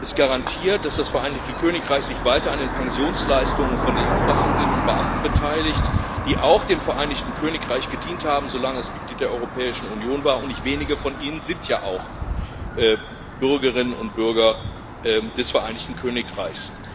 Es garantiert, dass das Vereinigte Königreich sich weiter an den Pensionsleistungen von EU Beamtinnen und —Beamten beteiligt, die auch dem Vereinigten Königreich gedient haben, solange es Mitglied der Europäischen Union war, und nicht wenige von ihnen sind ja auch Bürgerinnen und Bürger des Vereinigten Königreichs.